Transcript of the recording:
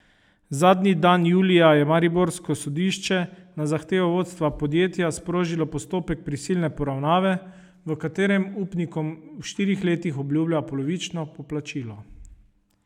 Zadnji dan julija je mariborsko sodišče na zahtevo vodstva podjetja sprožilo postopek prisilne poravnave, v katerem upnikom v štirih letih obljublja polovično poplačilo.